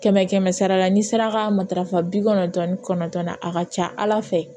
Kɛmɛ kɛmɛ sara la n'i sera ka matarafa bi kɔnɔntɔn ni kɔnɔntɔn na a ka ca ala fɛ